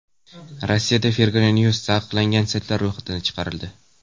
Rossiyada Fergana News taqiqlangan saytlar ro‘yxatidan chiqarildi.